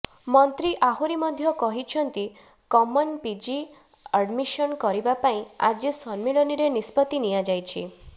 ମନ୍ତ୍ରୀ ଆହୁରି ମଧ୍ୟ କହିଛନ୍ତି କମନ୍ ପିଜି ଆଡ୍ମିସନ୍ କରିବା ପାଇଁ ଆଜି ସମ୍ମିଳନୀରେ ନିଷ୍ପତ୍ତି ନିଆଯାଇଛି